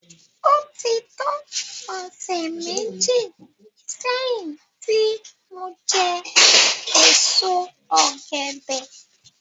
Ó ti tó ọ̀sẹ̀ méji sẹ́yìn tí mo jẹ èso ọ̀gẹ̀dẹ̀